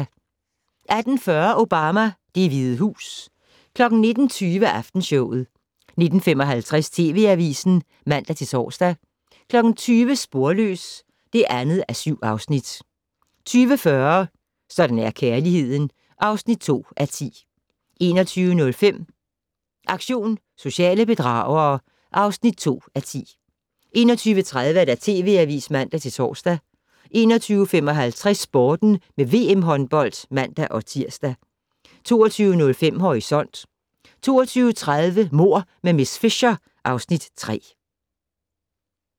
18:40: Obama: Det Hvide Hus 19:20: Aftenshowet 19:55: TV Avisen (man-tor) 20:00: Sporløs (2:7) 20:40: Sådan er kærligheden (2:10) 21:05: Aktion sociale bedragere (2:10) 21:30: TV Avisen (man-tor) 21:55: Sporten med VM håndbold (man-tir) 22:05: Horisont 22:30: Mord med miss Fisher (Afs. 3)